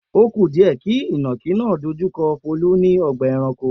O ku díẹ̀ kí ìnàkí náà dojú kọ Folú ní ọgbà-ẹranko.